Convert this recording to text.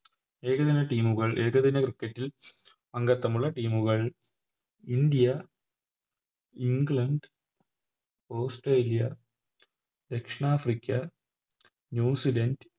ഏകദിന Team കൾ ഏകദിന Cricket ൽ അംഗത്വമുഉള്ള Team കൾ ഇന്ത്യ ഇംഗ്ലണ്ട് ഓസ്‌ട്രേലിയ ദക്ഷിണാഫ്രിക്ക ന്യൂസിലാൻഡ്